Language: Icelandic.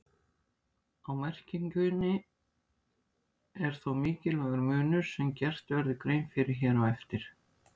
Á merkingunni er þó mikilvægur munur sem gert verður grein fyrir hér á eftir.